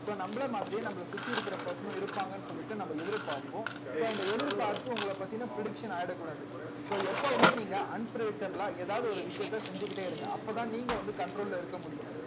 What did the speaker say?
so நம்மளை மாதிரியே நம்மளை சுத்தி இருக்கிற person உம் இருப்பாங்கன்னு சொல்லிட்டு நம்ம எதிர்பார்ப்போம் so இந்த எதிர்பார்ப்பு உங்களைப் பத்தின prediction ஆயிடக்கூடாது so எப்பவுமே நீங்க unprivateable ஆ ஏதாவது ஒரு விஷயத்த செஞ்சுக்கிட்டே இருங்க அப்பதான் நீங்க வந்து control ல இருக்க முடியும்